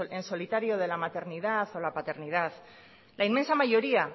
en solitario de la maternidad o la paternidad la inmensa mayoría